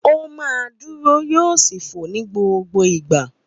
Ó máa dúró yóò sì fò ní gbogbo ìgbà.